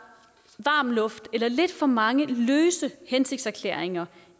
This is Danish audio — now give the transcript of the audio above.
varm luft eller lidt for mange løse hensigtserklæringer